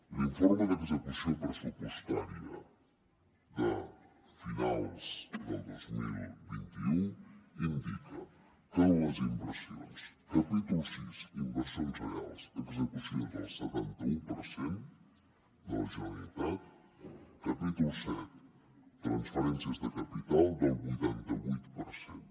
l’informe d’execució pressupostària de finals del dos mil vint u indica que en les inversions capítol sis inversions reals l’execució és del setanta un per cent de la generalitat capítol set transferències de capital del vuitanta vuit per cent